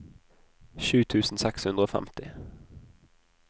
sju tusen seks hundre og femti